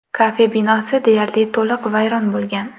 Kafe binosi deyarli to‘liq vayron bo‘lgan.